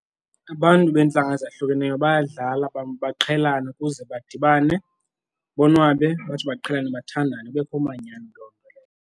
Abantu beentlanga ezahlukeneyo bayadlala baqhelane ukuze badibane, bonwabe batsho baqhelane bathandane kubekho umanyano loo nto leyo.